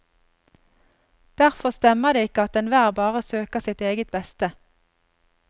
Derfor stemmer det ikke at enhver bare søker sitt eget beste.